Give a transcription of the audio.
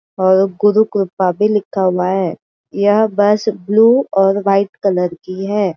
और गुरुकृपा भी लिखा हुआ है। यह बस ब्लू और व्हाइट कलर की है।